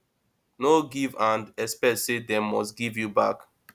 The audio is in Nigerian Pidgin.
no give and expect say dem must give you back